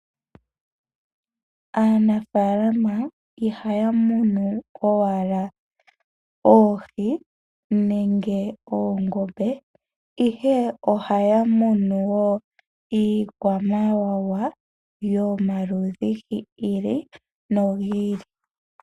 Aanafaalama ihaya munu owala oohi nenge oongombe. Ohaya munu wo iikwamawawa yomaludhi gi ili nogi ili.